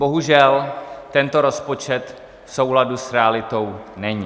Bohužel tento rozpočet v souladu s realitou není.